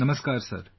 Namaskar Sir